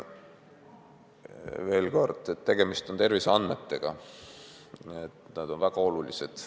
Veel kord, tegemist on terviseandmetega ja need on väga olulised.